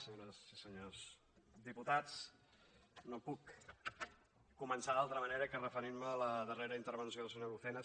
senyores i senyors diputats no puc començar d’altra manera que referint me a la darrera intervenció del senyor lucena